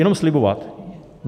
Jenom slibovat.